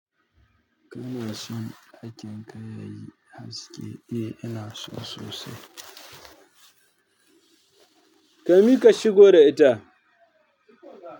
Kana son ajiye kaya yayi haske? Eh, ina so sosai. Kami ka shigo da ita.